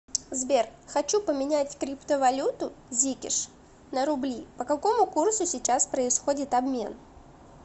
сбер хочу поменять криптовалюту зикеш на рубли по какому курсу сейчас происходит обмен